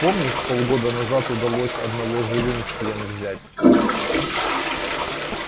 помнишь полгода назад удалось одного живым в плен взять